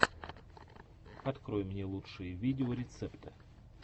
открой мне лучшие видеорецепты